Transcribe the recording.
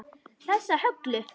Þessa Höllu!